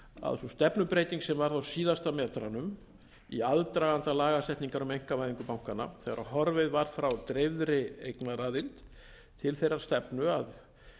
að sú stefnubreyting sem varð á síðustu metrunum í aðdraganda lagasetningar um einkavæðingu bankanna þegar horfið var frá dreifðri eignaraðild til þeirrar stefnu að